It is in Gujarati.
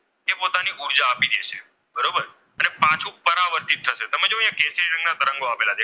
રંગના તરંગો આવેલા છે.